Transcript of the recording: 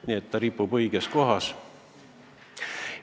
Nii et see pilt ripub õiges kohas.